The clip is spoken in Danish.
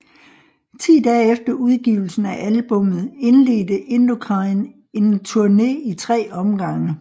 Ti dage efter udgivelsen af albummet indledte Indochine en turné i tre omgange